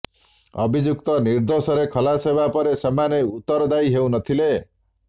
ଅଭିଯୁକ୍ତ ନିର୍ଦୋଷରେ ଖଲାସ ହେବା ପରେ ସେମାନେ ଉତ୍ତରଦାୟୀ ହେଉ ନ ଥିଲେ